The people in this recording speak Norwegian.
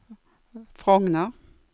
Frogner